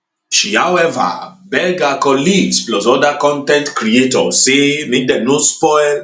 she however beg her colleagues plus oda con ten t creators say make dem no spoil